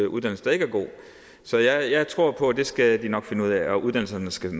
uddannelse der ikke er god så jeg jeg tror på at det skal de nok finde ud af og uddannelserne skal